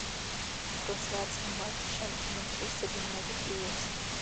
трансляция матча манчестер юнайтед и лестер